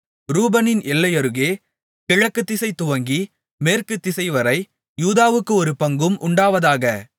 ரூபனின் எல்லையருகே கிழக்குதிசை துவங்கி மேற்குத்திசைவரை யூதாவுக்கு ஒரு பங்கும் உண்டாவதாக